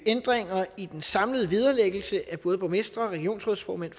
ændringer i den samlede vederlæggelse af både borgmestre regionsrådsformænd